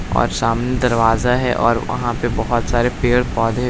और सामने दरवाजा है और बहुत सारे पड़े पौधे--